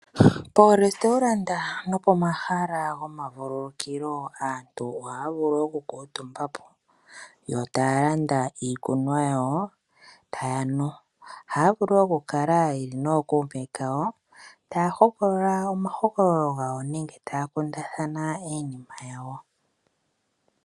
Poolestoulanda nopomahala gomavululukilo aantu ohaya vulu oku kuutumbapo yo taya landa iikunwa yawo etaya nu. Ohaya vulu woo oku kala yeli nookuume kawo . Taya hokolola omahokololo gawo nenge taya kundathana iinima yawo.